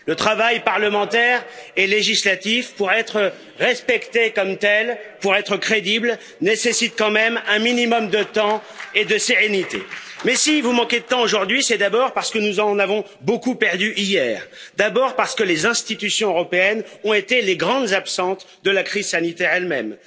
Le travail parlementaire et législatif, pour être respecté comme tel, pour être crédible, nécessite quand même un minimum de temps et de sérénité. Si vous manquez de temps aujourd'hui, c'est d'abord parce que nous en avons beaucoup perdu, hier d'abord parce que les institutions européennes ont été les grandes absentes de la crise sanitaire elles mêmes